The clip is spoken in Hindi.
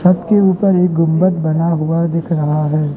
छत के ऊपर एक गुंबद बना हुआ दिख रहा है।